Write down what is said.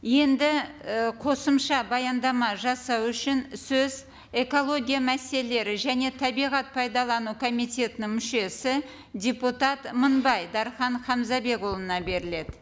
енді ы қосымша баяндама жасау үшін сөз экология мәселелері және табиғат пайдалану комитетінің мүшесі депутат мыңбай дархан хамзабекұлына беріледі